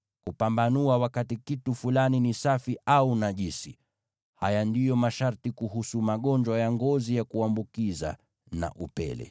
kupambanua wakati kitu fulani ni safi au najisi. Haya ndiyo masharti kuhusu magonjwa ya ngozi ya kuambukiza na upele.